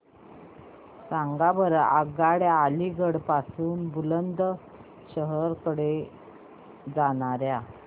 सांगा बरं आगगाड्या अलिगढ पासून बुलंदशहर कडे जाणाऱ्या